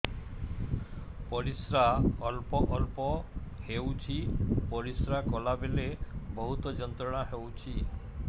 ପରିଶ୍ରା ଅଳ୍ପ ଅଳ୍ପ ହେଉଛି ପରିଶ୍ରା କଲା ବେଳେ ବହୁତ ଯନ୍ତ୍ରଣା ହେଉଛି